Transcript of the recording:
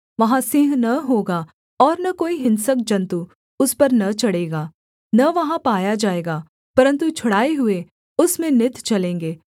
वहाँ सिंह न होगा ओर न कोई हिंसक जन्तु उस पर न चढ़ेगा न वहाँ पाया जाएगा परन्तु छुड़ाए हुए उसमें नित चलेंगे